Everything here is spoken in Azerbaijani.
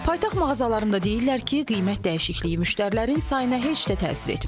Paytaxt mağazalarında deyirlər ki, qiymət dəyişikliyi müştərilərin sayına heç də təsir etmir.